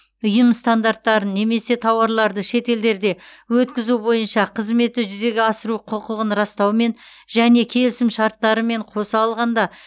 ұйым стандарттарын немесе тауарларды шетелдерде өткізу бойынша қызметті жүзеге асыруға құқығын растаумен немесе келісімшарт шарттарымен қоса алғанда